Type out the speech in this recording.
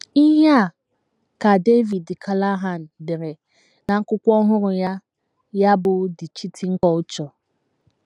Ihe a ka David Callahan dere n’akwụkwọ ọhụrụ ya ya bụ́ The Cheating Culture.